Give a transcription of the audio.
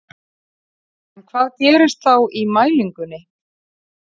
En hvað gerist þá í mælingunni?